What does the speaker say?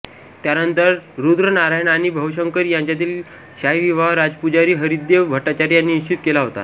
त्यानंतर रुद्रनारायण आणि भवशंकरी यांच्यातील शाही विवाह राजपुजारी हरिदेव भट्टाचार्य यांनी निश्चित केला होता